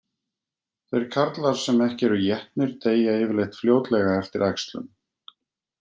Þeir karlar sem ekki eru étnir deyja yfirleitt fljótlega eftir æxlun.